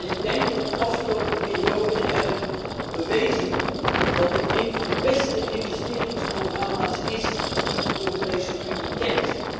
Ik denk dat we de afgelopen periode hebben bewezen dat dit een van de beste investeringsprogramma's is die de Europese Unie kent.